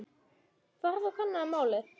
Farðu og kannaðu málið.